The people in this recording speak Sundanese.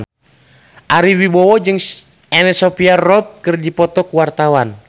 Ari Wibowo jeung Anna Sophia Robb keur dipoto ku wartawan